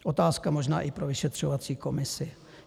Otázka možná i pro vyšetřovací komisi.